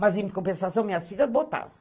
Mas, em compensação, minhas filhas botaram.